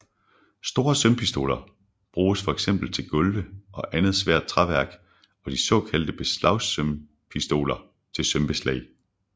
Store sømpistoler bruges fx til gulve og andet svært træværk og de såkaldte beslagsømpistoler til sømbeslag